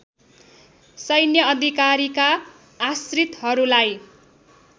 सैन्य अधिकारीका आश्रितहरूलाई